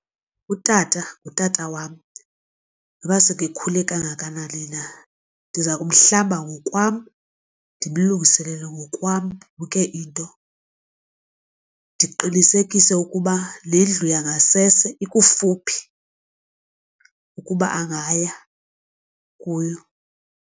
Utata ngutata wam noba sekekhule kangakanani na ndiza kumhlamba ngokwam ndimlungiselele ngokwam yonke into. Ndiqinisekise ukuba nendlu yangasese ikufuphi ukuba angaya kuyo.